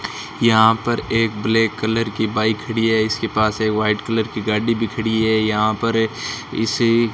यहां पर एक ब्लैक कलर की बाइक खड़ी है इसके पास है एक व्हाइट कलर की गाड़ी भी खड़ी है यहां पर इस --